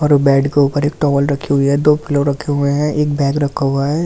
और बेड के ऊपर एक टॉवल रखी हुई है दो रखे हुए है एक बैग रखा हुआ है बैग के बराबर--